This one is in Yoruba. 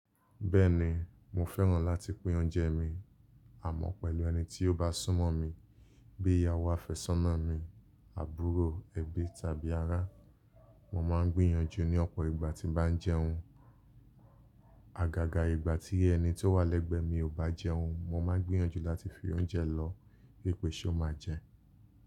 Bẹ́ẹ̀ni, mo fẹ́ràn láti pín oúnjẹ mi àmọ́ pẹ̀lú ẹni tí ó bá sún mọ́ mi bíi ìyàwó àfẹ́sọ́nà mi, àbúrò, ẹbí tàbí ará. Mo máa ń gbìyànjú ní ọ̀pọ̀ ìgbà tí mo bá ń jẹun. Àgàgà ìgbà tí ẹni tó wà lẹ́gbẹ̀ẹ́ mi ò bá jẹun mo máa ń gbìyànjú láti fi oúnjẹ lọ̀ọ́ wípé ṣó máa jẹ.